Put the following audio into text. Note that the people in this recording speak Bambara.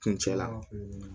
Kuncɛ la